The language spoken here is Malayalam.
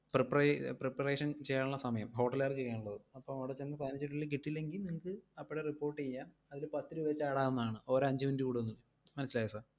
പ്രിപ്രീ~ preparation ചെയ്യാനുള്ള സമയം. hotel ഉകാര് ചെയ്യാനുള്ളത്. അപ്പോ അവിടെ ചെന്ന് പതിനഞ്ചു minute നുള്ളിൽ കിട്ടിയില്ലെങ്കിൽ നിങ്ങക്ക് അപ്പോഴെ report എയ്യാം, അതില് പത്തുരൂപ വെച്ചു add ആവുന്നതാണ്. ഓരോ അഞ്ച് minute കൂടുന്നതും, മനസ്സിലായോ sir